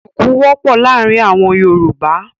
Ṣuku wọ̀pọ́ làarin awọn Yorúbà.